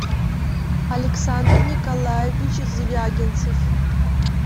александр николаевич звягинцев